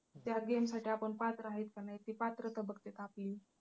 त्या game साठी आपण पात्र आहेत का नाही ते पात्रता बघत्यात आपली